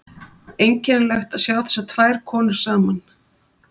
Einkennilegt að sjá þessar tvær konur saman.